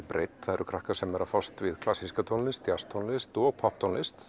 breidd það eru krakkar sem eru að fást við klassíska tónlist djasstónlist og popptónlist